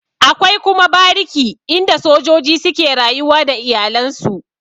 Akwai kuma bariki inda sojoji suke rayuwa da iyalen su.